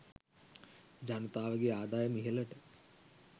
ජනතාවගේ ආදායම ඉහළට